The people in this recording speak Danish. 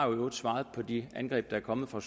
øvrigt svaret på de angreb der er kommet fra